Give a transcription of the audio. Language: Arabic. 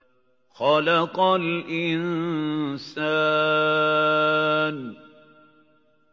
خَلَقَ الْإِنسَانَ